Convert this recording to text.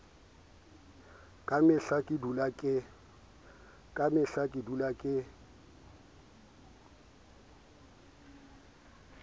ka mehla ke dula ke